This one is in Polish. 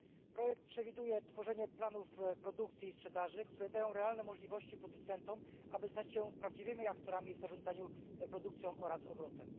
Projekt przewiduje tworzenie planów produkcji i sprzedaży, które dają realne możliwości producentom, aby stać się prawdziwymi aktorami w zarządzaniu produkcją oraz obrotem.